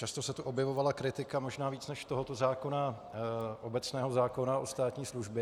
Často se tu objevovala kritika možná víc než tohoto zákona obecného zákona o státní službě.